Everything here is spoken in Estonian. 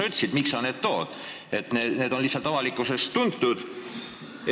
Sa ütlesid, et sa tood need näiteks, sest nad on lihtsalt avalikkusele tuntud.